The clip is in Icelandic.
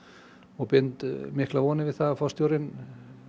og bind miklar vonir við að forstjórinn